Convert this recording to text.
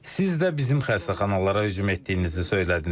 Siz də bizim xəstəxanalara hücum etdiyinizi söylədiniz.